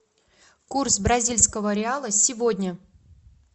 курс бразильского реала сегодня